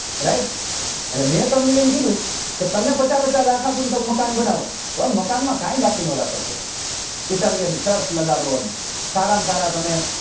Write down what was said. Right એટલે મેં તમને એમ કીધું કે તમને પચા પચા લાખ આપું ને તમે મકાન બનાવો હવે મકાન માં કઈ બાકી નાં રાખો સાહેબ italian લગાડો ને સારા માં સારા તમે